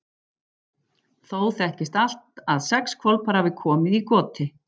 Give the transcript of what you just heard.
Þó þekkist að allt að sex hvolpar hafi komið í goti.